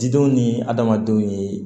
Didenw ni adamadenw ye